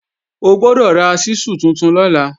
Ó gbọ́dọ̀ ra ṣísù tuntun lọ́la!